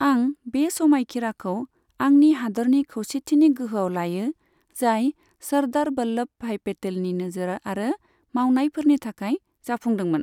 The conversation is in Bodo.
आं बे समायखिराखौ आंनि हादोरनि खौसेथिनि गोहोआव लायो, जाय सर्दार बल्लभ भाई पेटेलनि नोजोर आरो मावनायफोरनि थाखाय जाफुंदोंमोन।